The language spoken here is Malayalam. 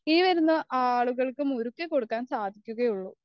ഇനി വരുന്ന ആളുകൾക്കും ഒരുക്കികൊടുക്കാൻ സാധിക്കുകയുള്ളു